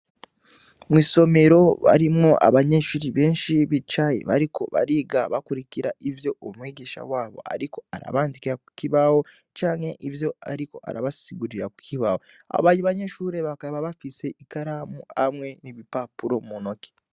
Mw'isomero harimwo abanyeshure benshi bicaye bariko bariga bakurikira ivyo umwigisha wabo ariko arabandikira ku kibuga canke ivyo ariko arabasigurira ku kibaho, abandi banyeshure bakaba bafise ikaramu hamwe n'ibipapuro mu ntoke.